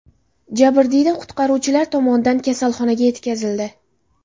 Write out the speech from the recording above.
Jabrdiyda qutqaruvchilar tomonidan kasalxonaga yetkazildi.